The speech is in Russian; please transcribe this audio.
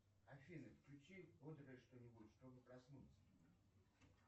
афина включи бодрое что нибудь чтобы проснуться